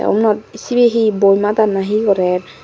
ubonot sibeni he boi madar na he gorer.